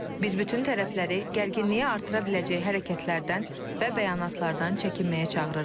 Biz bütün tərəfləri gərginliyi artıra biləcək hərəkətlərdən və bəyanatlardan çəkinməyə çağırırıq.